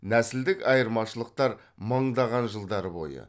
нәсілдік айырмашылықтар мыңдаған жылдар бойы